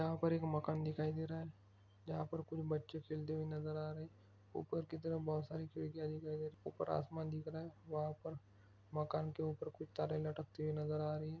यहाँ पर एक मकान दिखाई दे रहा है। जहाँ पर कुछ बच्चे खेलते हुऐ नजर आ रहे है। ऊपर की तरफ बहुत सारी खिड़कियाँ दिखाई दे रही है। ऊपर आसमान दिख रहा है। वहा पर मकान के ऊपर कुछ तारे लटकते हुऐ नजर आ रही है।